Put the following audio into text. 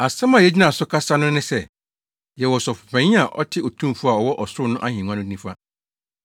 Asɛm a yegyina so kasa no ne sɛ: Yɛwɔ Ɔsɔfopanyin a ɔte Otumfo a ɔwɔ ɔsoro no ahengua no nifa,